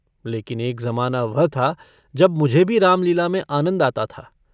लेकिन एक ज़माना वह था जब मुझे भी रामलीला में आनन्द आता था।